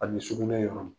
Ani sugunɛ yɔrɔ